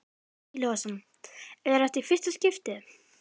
Breki Logason: Er þetta í fyrsta skiptið?